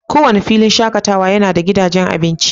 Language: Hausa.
Kowane filin shakatawa yana da gidajen abinci.